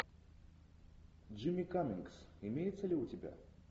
джимми каммингс имеется ли у тебя